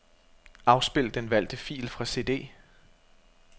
Afspil den valgte fil fra cd.